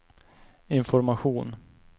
information